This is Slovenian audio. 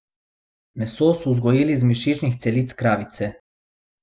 Meso so vzgojili iz mišičnih celic krave.